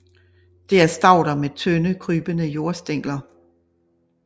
Det er stauder med tynde krybende jordstængler